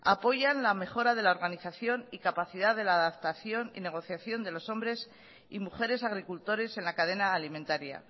apoyan la mejora de la organización y capacidad de la adaptación y negociación de los hombres y mujeres agricultores en la cadena alimentaria